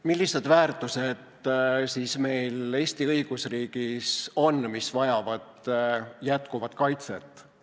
Millised siis meie Eesti õigusriigis on väärtused, mis vajavad jätkuvat kaitset?